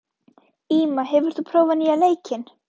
Íma, hefur þú prófað nýja leikinn?